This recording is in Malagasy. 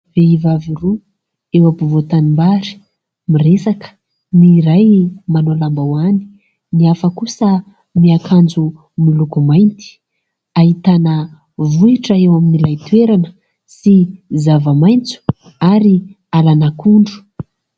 Vehivavy roa eo afovoan-tanimbary miresaka ny iray manao lambahoany ny hafa kosa miakanjo miloko mainty. Ahitana vohitra eo amin'ilay toerana sy zava-maitso ary alan'akondro.